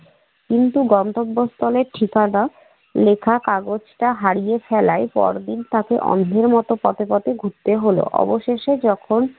কিন্তু গন্তব্যস্থলে ঠিকানা লেখা কাগজটা হারিয়ে ফেলায় পরদিন তাকে অন্ধের মত পথে পথে ঘুরতে হল। অবশেষে যখন